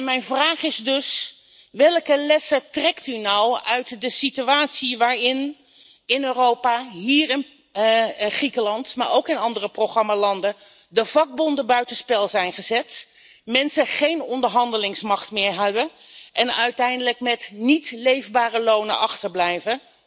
Mijn vraag is dus welke lessen trekt u nou uit de situatie in Europa waarin in Griekenland, maar ook in andere programmalanden, de vakbonden buitenspel zijn gezet, mensen geen onderhandelingsmacht meer hebben en uiteindelijk met niet leefbare lonen achterblijven?